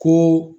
Ko